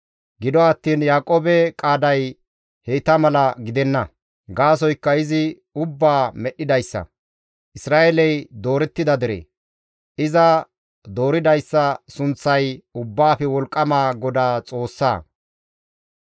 Gido attiin Yaaqoobe qaaday heyta mala gidenna. Gaasoykka izi ubbaa medhdhidayssa; Isra7eeley doorettida dere. Iza dooridayssa sunththay Ubbaafe Wolqqama GODAA Xoossa.